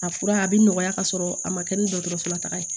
A fura a bɛ nɔgɔya ka sɔrɔ a ma kɛ ni dɔgɔtɔrɔso la taga ye